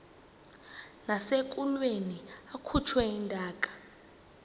nasekulweni akhutshwe intaka